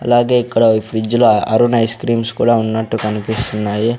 అలాగే ఇక్కడ ఈ ఫ్రిడ్జ్ లో అరుణ్ ఐస్ క్రీమ్స్ కూడా ఉన్నట్టు కనిపిస్తున్నాయి.